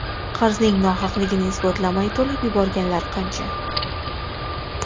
Qarzning nohaqligini isbotlamay to‘lab yuborganlar qancha?